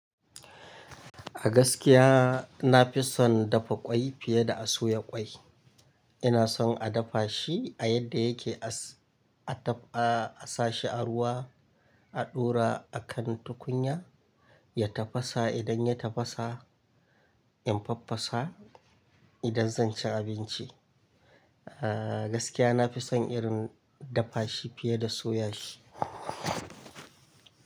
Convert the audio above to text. A gaskiya na fi son dafa kwai fiye da a soya kwai. Ina son a dafa shi a yadda yake, a sa shi a ruwa, a ɗora a kan tukunya ya tafasa. Idan ya tafasa infaffasa, idan zan ci abinci. A gaskiya nafi son irin dafa shi fiye da soya shi.